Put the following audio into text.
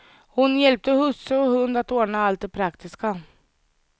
Hon hjälpte husse och hund att ordna allt det praktiska.